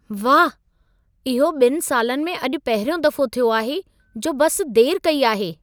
वाह, इहो 2 सालनि में अॼु पहिरियों दफो थियो आहे जो बस देर कई आहे।